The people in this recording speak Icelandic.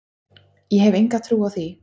Ég hef enga trú á því,